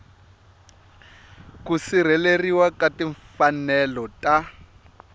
ku sirheleriwa ka timfanelo ta